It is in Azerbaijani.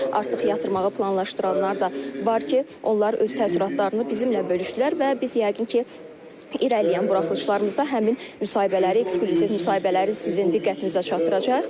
Artıq yatırmağı planlaşdıranlar da var ki, onlar öz təəssüratlarını bizimlə bölüşdülər və biz yəqin ki, irəliləyən buraxılışlarımızda həmin müsahibələri, eksklüziv müsahibələri sizin diqqətinizə çatdıracağıq.